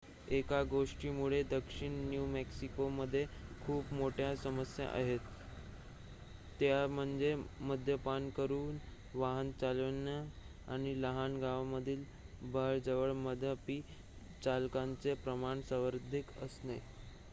एका गोष्टीमुळे दक्षिण न्यू मॅक्सिकोमध्ये खूप मोठ्या समस्या आहेत त्या म्हणजे मद्यपान करून वाहन चालवणे आणि लहान गावांमधील बारजवळ मद्यपी चालकांचे प्रमाण सर्वाधिक असणे